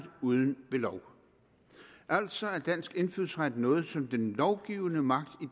uden ved lov altså er dansk indfødsret noget som den lovgivende magt